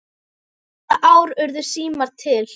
Hvaða ár urðu símar til?